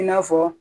I n'a fɔ